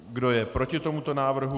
Kdo je proti tomuto návrhu?